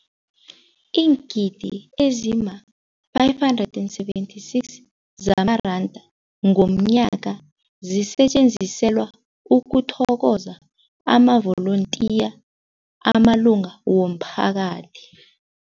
Iingidi ezima-576 zamaranda ngomnyaka zisetjenziselwa ukuthokoza amavolontiya amalunga womphakathi.